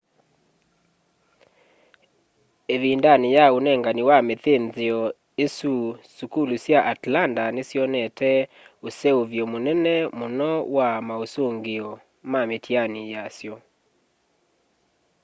ivindani ya unengani wa mithinthio isu sukulu sya atlanta nisyonete useuvyo munene muno wa mausungio ma mitiani yasyo